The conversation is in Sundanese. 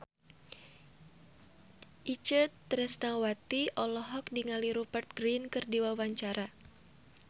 Itje Tresnawati olohok ningali Rupert Grin keur diwawancara